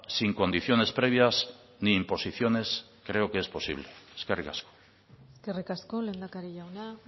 sin condiciones previas ni imposiciones creo que es posible eskerrik asko eskerrik asko lehendakari jauna